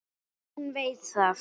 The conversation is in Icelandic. Hún veit það.